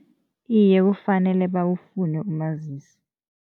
Iye, kufanele bawufune umazisi.